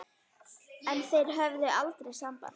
En þeir höfðu aldrei samband